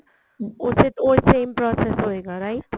use ਉਹੀ same process ਹੋਏਗਾ right